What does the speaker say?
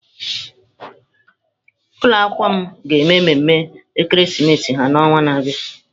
Ụlọ akwụkwọ m ga-eme mmeme ekeresimesi ha n'ọnwa na-abịa.